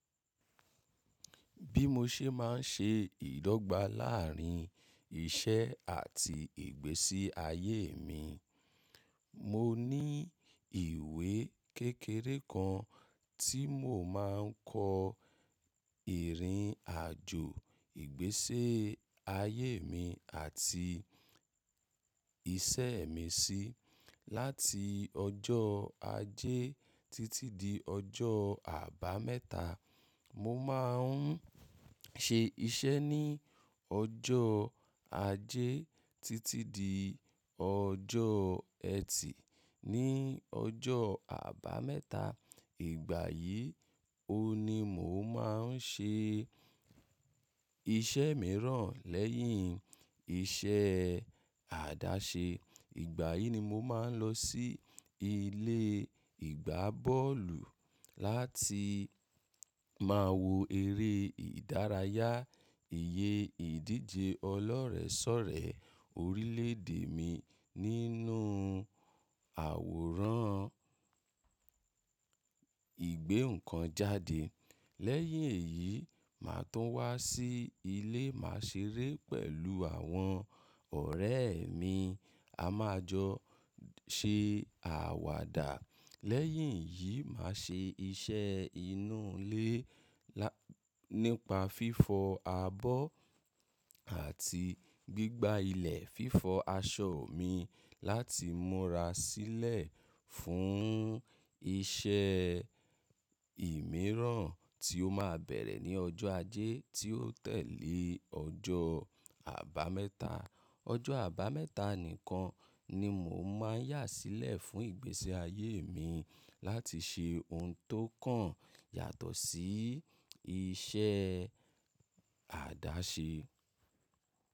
Bí mo ṣe máa ń ṣe ìdọ́gba láàárín iṣẹ́ àti ìgbésí ayé mi. Mo ní ìwé kékeré kan tí mò máa ń kọ ìrìn àjò ìgbésí ayé mi àti iṣẹ́ mi sí. Láti ọjọ́ ajé títí di ọjọ́ àbámẹ́ta, mo máa ń ṣe iṣẹ́ ní ọjọ́ ajé títí di ọjọ́ ẹtì. Ni ọjọ́ àbámẹ́ta, ìgbà yìí, ó ni mò máa ń ṣe iṣẹ́ mìíràn lẹ́yìn iṣẹ́ àdáṣe. Ìgbà yìí ni mo máa ń lọ sí ilé ìgbá bọ́ọ̀lù láti máa wo eré ìdárayá. Ìyè ìdíje ọlọ́rẹ̀ẹ́sọ̀rẹ́ orílẹ̀ èdè mi nínú àwòrán ìgbé ǹkan jáde. Lẹ́yìn èyí, màá tún wá sí ilé, màá ṣeré pẹ̀lú àwọn ọ̀rẹ́ mi. A máa jọ ṣe àwàdà. Lẹ́yìn yìí, màá ṣe iṣẹ́ inú ilé nípa fífọ abọ́ àti gbígba ilẹ̀ fífọ aṣọ mi láti múra sílẹ̀ fún iṣẹ́ mìíràn tí ó máa bẹ̀rẹ̀ ní ọjọ́ ajé tí ó tẹ̀lé ọjọ́ àbámẹ́ta. Ọjọ́ àbámẹ́ta nìkan ni mò máa ń yà sílẹ̀ fún ìgbésí ayé mi láti ṣe ohun tó kàn yàtọ̀ sí iṣẹ́ àdáṣe.